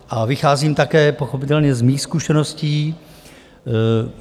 A vycházím také pochopitelně ze svých zkušeností.